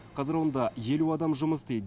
қазір онда елу адам жұмыс істейді